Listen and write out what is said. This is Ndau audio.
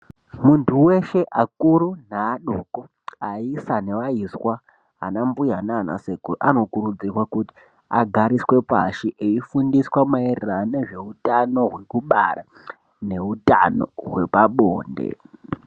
Muntu weshe akuru neadoko aisa nevaiswa ana mbuya nanasekuru anokurudzirwa kuti agariswe pashi eifundiswa mairirano ngezveutano hwekubara nehwepabonde.